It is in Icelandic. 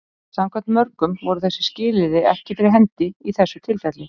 Samkvæmt mörgum voru þessi skilyrði ekki fyrir hendi í þessu tilfelli.